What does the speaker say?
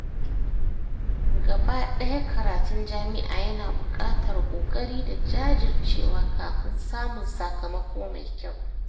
Gabaɗaya karatun jami’a yana buƙatar ƙoƙari da jajircewa kafin samun sakamako mai kyau.